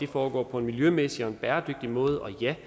foregår på en miljømæssig og bæredygtig måde og ja